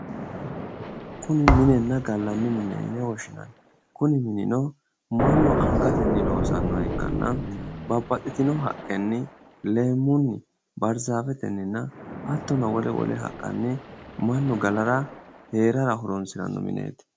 Kuni minenna gallanni mine yine woshshinanni kuni minino mannu angatenni loosannoha ikkanna babbaxxitino haqqenni leemmunni baarzafetenninna hattono mannu galaranna hee'rara horoonsiranno mineeti.